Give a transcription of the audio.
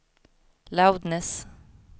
loudness